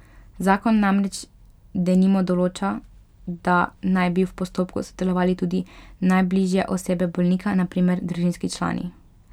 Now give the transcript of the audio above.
Zakon namreč denimo določa, da naj bi v postopku sodelovale tudi najbližje osebe bolnika, na primer družinski člani.